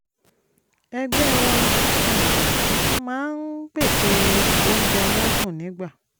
ẹgbẹ́ wa um máa ń pèsè oúnjẹ aládùn nígbà